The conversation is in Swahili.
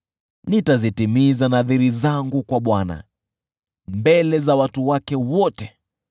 Nitazitimiza nadhiri zangu kwa Bwana mbele za watu wake wote,